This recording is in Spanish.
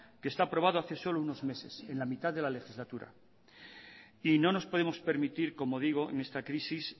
que está aprobado solo hace unos meses en la mitad de la legislatura y no nos podemos permitir como digo en esta crisis